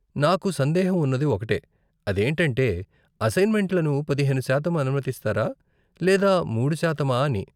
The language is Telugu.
నాకు సందేహం ఉన్నది ఒకటే, అదేంటంటే అసైన్మెంట్లను పదిహేను శాతం అనుమతిస్తారా, లేదా మూడు శాతమా అని?